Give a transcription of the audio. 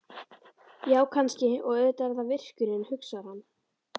Já, kannski, og auðvitað er það virkjunin, hugsar hann.